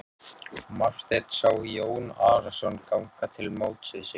Marteinn sá Jón Arason ganga til móts við sig.